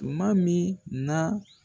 Tuma min na